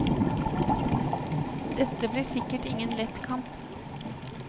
Dette blir sikkert ingen lett kamp.